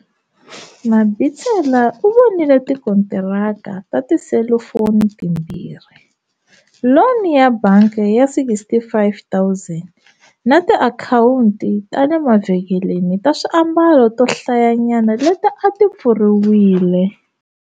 Mabitsela u vonile tikontiraka ta tiselifoni timbirhi, loni ya bangi ya R65 000 na tiakhawunti ta le mavhengeleni ta swiambalo to hlayanyana leti a ti pfuriwile.